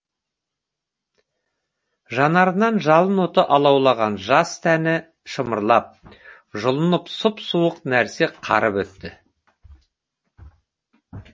жанарынан жалын оты алаулаған жас тәні шымырлап жұлынын сұп суық нәрсе қарып өтті